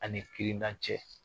A ni kirina cɛ.